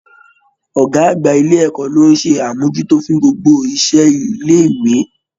Ọ̀gá àgbà ilé ẹ̀kọ́ ló ń ṣe amojuto fún gbogbo isẹ ilé ìwé.